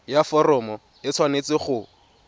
ya foromo e tshwanetse go